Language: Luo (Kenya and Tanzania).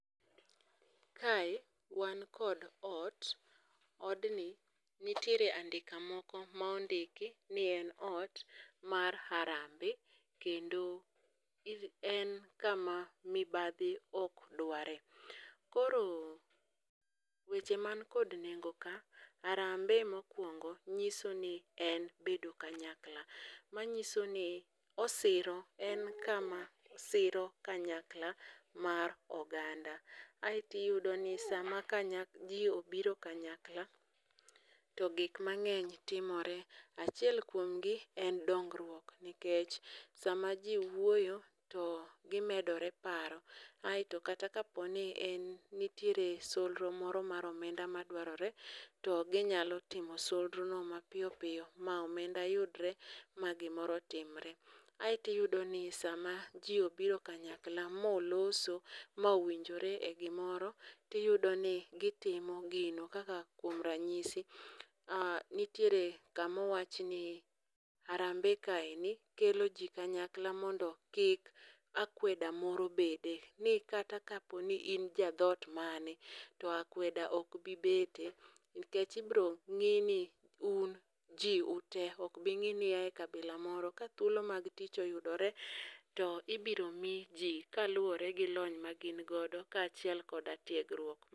Kae wan kod ot. Odni nitiere andika moko ma ondiki ni en ot mar Harambe kendo en kama mibadhi ok dware. Koro weche man kod nengo ka. Harambe mokwongo nyiso ni en bedo kanyakla. Manyiso ni osiro, en kama siro kanyakla mar oganda. Aeto iyudo ni sama ji obiro kanyakla to gik mang'eny timore. Achiel kuomgi en dongruok nikech sama ji wuoyo to gimedore paro. Aeto kata ka po ni nitiere solro moro mar omenda, madwarore to ginyalo timo solro no mapiyo piyo ma omenda yudore ma gimoro timore. Aeto iyudo ni sama ji obiro kanyakla ma oloso ma owinjore e gimoro, to iyudo ni gitimo gino. Kaka kuo ranyisi um nitiere kama owachni ni harambe kaendi kelo ji kanyakla mondo kik akweda moro bede. Ni kata ka po ni im ja dhoot mane to akweda ok bi bete. Nikech irito ng'i ni uj ji ute, ok bi ngi ni ia e kabila moro. Ka thuolo mag tich oyudore to ibiro mi ji kaluwore gi lony magin godo, kaachiel koda tiegruok.